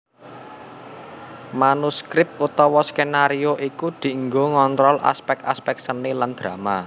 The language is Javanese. Manuskrip utawa skenario iku dianggo ngontrol aspèk aspèk seni lan drama